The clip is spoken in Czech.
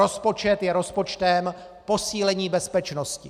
Rozpočet je rozpočtem posílení bezpečnosti.